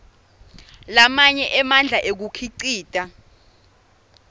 lamanye emandla ekukhicita